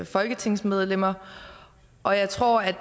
folketingsmedlemmer og jeg tror at